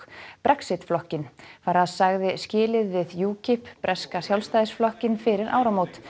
Brexit flokkinn sagði skilið við breska Sjálfstæðisflokkinn fyrir áramót